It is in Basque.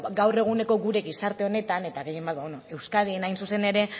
gaur eguneko gure gizarte honetan eta gehien bat euskadin hain zuzen ere